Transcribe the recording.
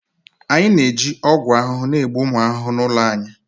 Anyị na-eji ọgwụ ahụhụ na-egbu ụmụ ahụhụ n'ụlọ anyị